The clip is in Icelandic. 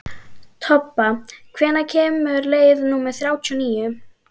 Tobba, hvenær kemur leið númer þrjátíu og níu?